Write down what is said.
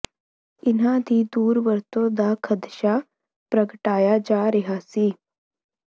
ਇਹਨਾਂ ਦੀ ਦੁਰ ਵਰਤੋਂ ਦਾ ਖਦਸ਼ਾ ਪ੍ਰਗਟਾਇਆ ਜਾ ਰਿਹਾ ਸੀ